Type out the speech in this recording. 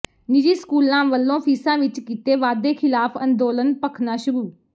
ਨਿੱਜੀ ਸਕੂਲਾਂ ਵੱਲੋਂ ਫੀਸਾਂ ਵਿੱਚ ਕੀਤੇ ਵਾਧੇ ਖ਼ਿਲਾਫ਼ ਅੰਦੋਲਨ ਭਖਣਾ ਸ਼ੁਰੂ